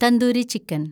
tandoori chicken